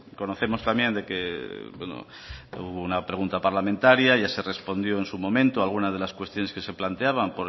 conocemos también de que hubo una pregunta parlamentaria ya se respondió en su momento algunas de las cuestiones que se planteaban